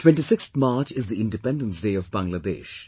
26th March is the Independence Day of Bangladesh